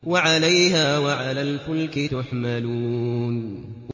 وَعَلَيْهَا وَعَلَى الْفُلْكِ تُحْمَلُونَ